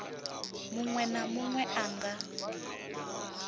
muṅwe na muṅwe a nga